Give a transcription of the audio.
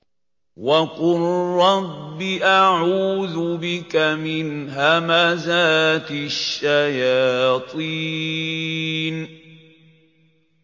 وَقُل رَّبِّ أَعُوذُ بِكَ مِنْ هَمَزَاتِ الشَّيَاطِينِ